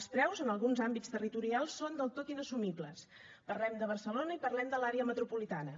els preus en alguns àmbits territorials són del tot inassumibles parlem de barcelona i parlem de l’àrea metropolitana